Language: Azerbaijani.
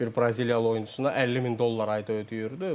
Bir braziliyalı oyunçusuna 50 min dollar ayda ödəyirdi.